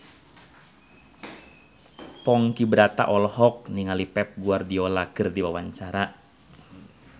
Ponky Brata olohok ningali Pep Guardiola keur diwawancara